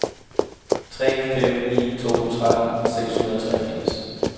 tre fem ni to tretten seks hundrede og treogfirs